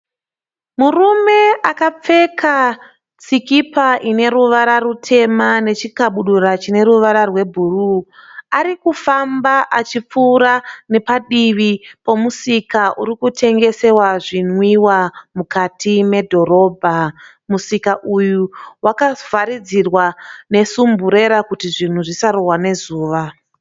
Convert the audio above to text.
Murume akapfeka sikipa ine ruvara rutema nechikabudura chine ruvara rwebhuruu . Arikufamba achipfuura nepadivi pomusika uritengesewa zvinwiwa mukati medhorobha . Musika uyu wakavharidzirwa nesumburera kuti zvinhu zvisarohwa nezuva .